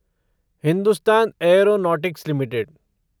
Hindustan aeronautics limited